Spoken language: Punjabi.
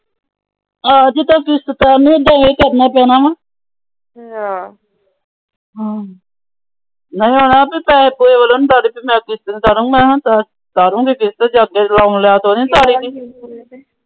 ਆ ਜਿਦਣ ਕਿਸ਼ਤ ਤਾਰਨੀ ਓਦਣ ਕਰਨਾ ਪੈਣਾ ।